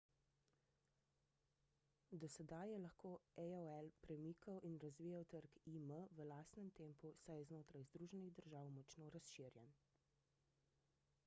do sedaj je lahko aol premikal in razvijal trg im v lastnem tempu saj je znotraj združenih držav močno razširjen